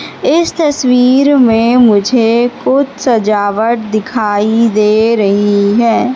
इस तस्वीर में मुझे कुछ सजावट दिखाई दे रही है।